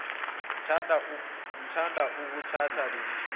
ngithanda ukuthatha lelithuba